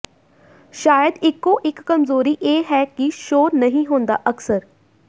ਸ਼ਾਇਦ ਇਕੋ ਇਕ ਕਮਜ਼ੋਰੀ ਇਹ ਹੈ ਕਿ ਸ਼ੋਅ ਨਹੀਂ ਹੁੰਦਾ ਅਕਸਰ